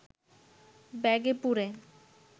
ব্যাগে পুরে